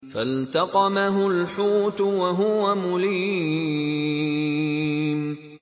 فَالْتَقَمَهُ الْحُوتُ وَهُوَ مُلِيمٌ